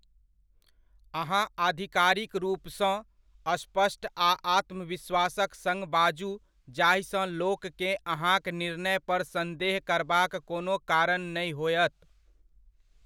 अहाँ आधिकारिक रूपसँ, स्पष्ट आ आत्मविश्वासक सङ्ग बाजू जाहिसँ लोककेँ अहाँक निर्णय पर संदेह करबाक कोनो कारण नहि होयत।